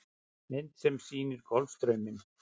Mynd sem sýnir Golfstrauminn.